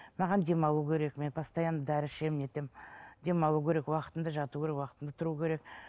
маған демалу керек мен постоянно дәрі ішемін не етемін демалу керек уақытында жату керек уақытында тұру керек